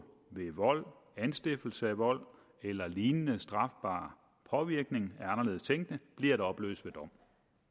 ved vold anstiftelse af vold eller lignende strafbar påvirkning af anderledes tænkende bliver at opløse ved dom